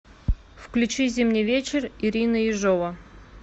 включи зимний вечер ирина ежова